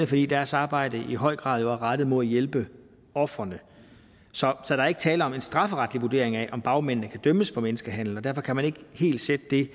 fordi deres arbejde jo i høj grad er rettet mod at hjælpe ofrene så der er ikke tale om en strafferetlig vurdering af om bagmændene kan dømmes for menneskehandel og derfor kan man ikke helt sætte det